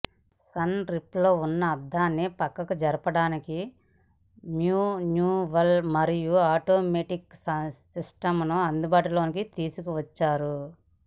sun రూఫ్లో ఉన్న అద్దాన్ని ప్రక్కకు జరపడానికి మ్యాన్యువల్ మరియు ఆటోమేటిక్ సిస్టంను అందుబాటులోకి తీసుకువచ్చారు